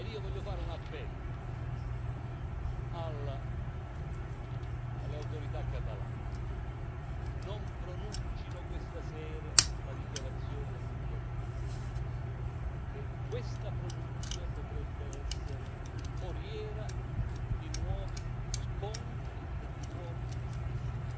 E io voglio fare un appello alle autorità catalane non pronuncino questa sera la dichiarazione di indipendenza perché questa pronunzia potrebbe essere foriera di nuovi scontri e di nuovi disastri.